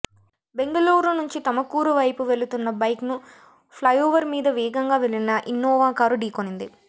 బెంగళూరు నుంచి తమకూరు వైపు వెలుతున్న బైక్ ను ఫ్లైఓవర్ మీద వేగంగా వెళ్లిన ఇన్నోవా కారు ఢీకొనింది